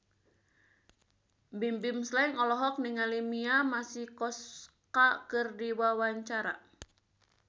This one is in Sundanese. Bimbim Slank olohok ningali Mia Masikowska keur diwawancara